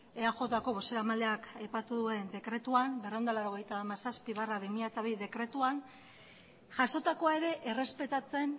eajko bozeramaleak aipatu duen berrehun eta laurogeita hamazazpi barra bi mila hamabi dekretuan jasotako ere errespetatzen